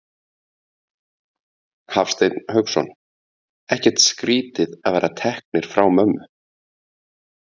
Hafsteinn Hauksson: Ekkert skrítið að vera teknir frá mömmu?